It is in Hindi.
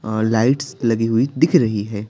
अअलाइट्स लगी हुई दिख रही है।